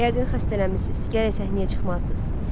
Yəqin xəstələnmisiniz, gərək səhnəyə çıxmazdınız.